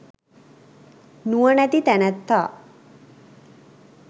නුවණැති තැනැත්තා